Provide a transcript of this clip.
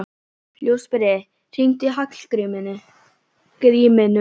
Ljósberi, hringdu í Hallgrímínu.